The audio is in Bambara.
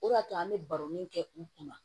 O de y'a to an bɛ baro min kɛ u kunna